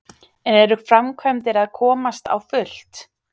En eru framkvæmdir að komast á fullt?